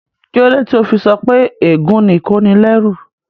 Kíló dé tó o fi sọ pé ègún ni ìkónilẹ́rú?